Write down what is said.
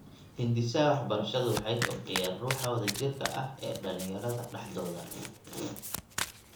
Hindisaha waxbarashadu waxay kobciyaan ruuxa wadajirka ah ee dhalinyarada dhexdooda.